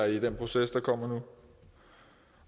i den proces der kommer nu